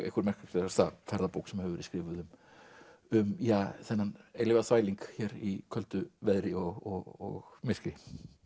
einhver merkilegasta ferðabók sem hefur verið skrifuð um þennan eilífa þvæling hér í köldu veðri og myrkri